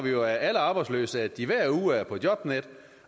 jo af alle arbejdsløse at de hver uge er på jobnet